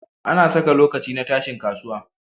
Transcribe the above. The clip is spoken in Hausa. Ana Saka lokaci na tashin kasuwa